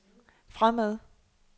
fremad